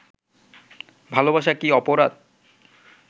ভালোবাসা কি অপরাধ